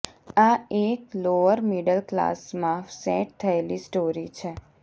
આ એક lower middle ક્લાસમાં સેટ થયેલી સ્ટોરી છે